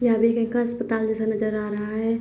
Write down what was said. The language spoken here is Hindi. यह भी एक अस्पताल जैसा नज़र आ रहा हैं।